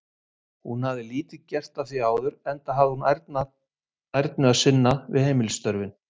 Hún hafði lítið gert að því áður, enda hafði hún ærnu að sinna við heimilisstörfin.